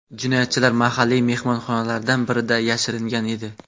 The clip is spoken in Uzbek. Jinoyatchilar mahalliy mehmonxonalardan birida yashiringan edi.